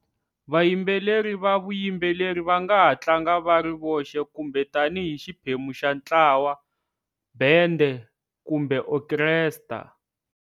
Vayimbeleri va vuyimbeleri va nga ha tlanga va ri voxe kumbe tanihi xiphemu xa ntlawa-bendhe kumbe okhestra.